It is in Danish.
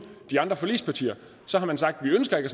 de andre forligspartier har man sagt vi ønsker ikke